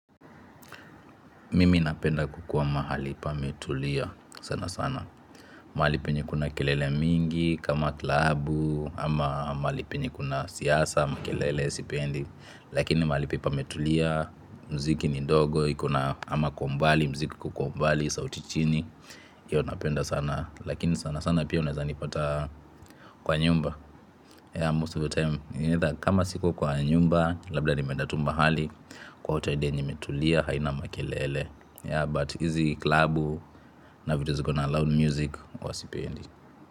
Mimi napenda kukua mahali pametulia sana sana. Mahali penye kuna kelele mingi kama klabu ama mahali penye kuna siasa makelele sipendi. Lakini mahali penye pametulia mziki ni ndogo iko na ama kwa umbali mziki iko kwa umbali sauti chini. Hiyo napenda sana lakini sana sana pia unaeza nipata kwa nyumba. Yeah most of the time. Kama siko kwa nyumba labda nimeenda tu mahali kwa hoteli yenye imetulia haina makelele. Ya but hizi klabu na vitu ziko na loud music huwa sipendi.